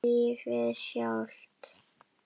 Lífið sjálft.